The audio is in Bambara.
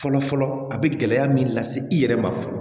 Fɔlɔ fɔlɔ a bɛ gɛlɛya min lase i yɛrɛ ma fɔlɔ